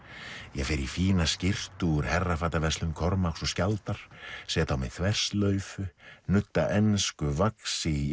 ég fer í fína skyrtu úr Kormáks og skjaldar set á mig þverslaufu nudda ensku vaxi í